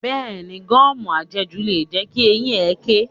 Bẹ́ẹ̀ni, gọ́ọ̀mù à jẹ jù lè jẹ́ kí eyín ẹkẹ̀.